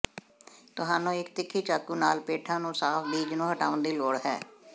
ਤੁਹਾਨੂੰ ਇੱਕ ਤਿੱਖੀ ਚਾਕੂ ਨਾਲ ਪੇਠਾ ਨੂੰ ਸਾਫ ਬੀਜ ਨੂੰ ਹਟਾਉਣ ਦੀ ਲੋੜ ਹੈ